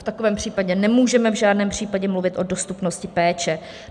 V takovém případě nemůžeme v žádném případě mluvit o dostupnosti péče.